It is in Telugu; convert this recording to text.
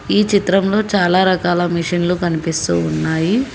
ఈ చిత్రంలో చాలా రకాల మిషన్లు కనిపిస్తూ ఉన్నాయి.